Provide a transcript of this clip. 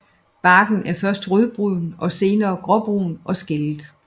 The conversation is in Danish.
Barken er først rødbrun og senere gråbrun og skællet